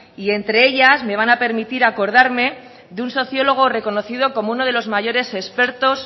y entre ellas me van a permitir acordarme de un sociólogo reconocido como uno de los mayores expertos